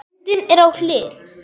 Myndin er á hlið.